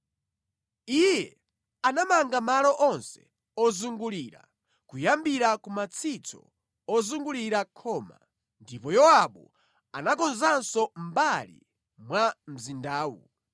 Iye anamanga malo onse ozungulira, kuyambira ku matsitso ozungulira khoma. Ndipo Yowabu anakonzanso mbali ina ya mzindawu.